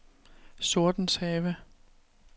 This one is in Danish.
Sortenshave